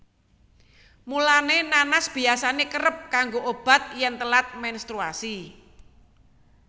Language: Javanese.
Mulané nanas biyasané kerep kanggo obat yèn telat menstruasi